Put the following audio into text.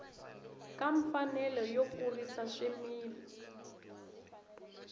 ka mfanelo yo kurisa swimila